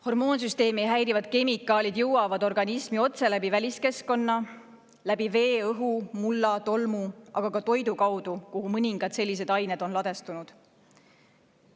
Hormoonsüsteemi häirivad kemikaalid jõuavad organismi otse läbi väliskeskkonna – läbi vee, õhu, mulla, tolmu –, aga ka toidu kaudu, kuhu mõningad sellised ained on ladestunud.